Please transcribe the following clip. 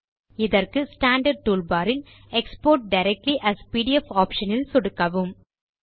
இதற்கு standard tool bar இல் export directly AS PDF option இல் சொடுக்கவும்